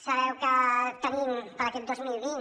sabeu que tenim per a aquest dos mil vint